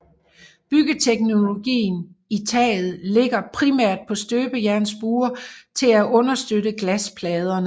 Byggeteknologien i taget ligger primært på støbejernsbuer til at understøtte glaspladerne